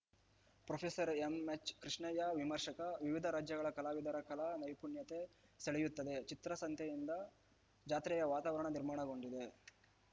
professor M H Krishnaiah ವಿಮರ್ಶಕ ವಿವಿಧ ರಾಜ್ಯಗಳ ಕಲಾವಿದರ ಕಲಾ ನೈಪುಣ್ಯತೆ ಸೆಳೆಯುತ್ತದೆ ಚಿತ್ರಸಂತೆಯಿಂದ ಜಾತ್ರೆಯ ವಾತಾವರಣ ನಿರ್ಮಾಣಗೊಂಡಿದೆ